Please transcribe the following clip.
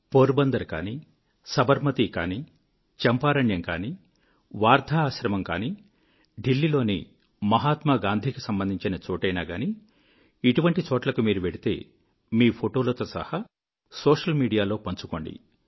pour Bandar కానీ సబర్మతీ కానీ చంపారణ్యం కానీ వర్ధా ఆశ్రమం కానీ దిల్లీ లోని మహాత్మాగాంధీకి సంబంధించిన చోటైనా గానీ ఇటువంటి చోట్లకు మీరు వెళ్తే మీ ఫోటోలతో సహా సోషల్ మీడియాలో పంచుకోండి